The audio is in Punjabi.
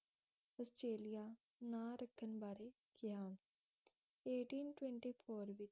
ਆਸਟ੍ਰੇਲੀਆ ਨਾਂ ਰੱਖਣ ਬਾਰੇ ਕਿਹਾ